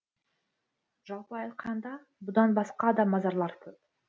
жалпы айтқанда бұдан басқа да мазарлар көп